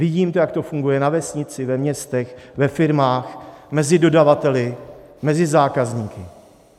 Vidím to, jak to funguje na vesnici, ve městech, ve firmách, mezi dodavateli, mezi zákazníky.